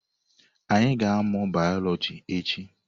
Anyị ga-amụ bayọlọji echi.